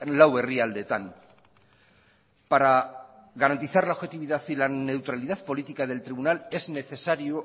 lau herrialdeetan para garantizar la objetividad y la neutralidad política del tribunal es necesario